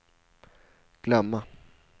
glömma